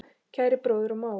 Kæri bróðir og mágur.